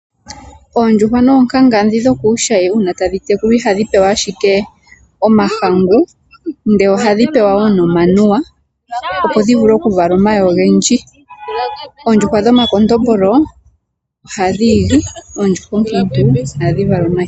Oondjuhwa noonkanga dhi dhokuushayi uuna tadhi tekulwa ihadhi pewa ashike omahangu, ndele ohadhi pewa wo nomanuwa opo dhi vule okuvala omayi ogendji. Oondjuhwa dhomakondombolo ohadhi igi, oondjuhwa oonkiintu ohadhi vala omayi.